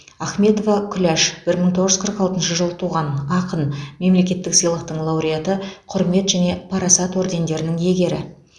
ахметова күләш бір мың тоғыз жүз қырық алтыншы жылы туған ақын мемлекеттік сыйлықтың лауреаты құрмет және парасат ордендерінің иегері